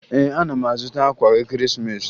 Ee, ana m azụta akwa Ekeresimeesi